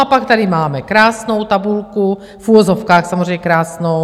A pak tady máme krásnou tabulku, v uvozovkách samozřejmě krásnou.